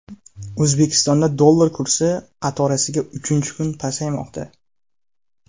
O‘zbekistonda dollar kursi qatorasiga uchinchi kun pasaymoqda .